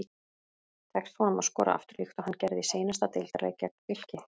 Tekst honum að skora aftur líkt og hann gerði í seinasta deildarleik gegn Fylki?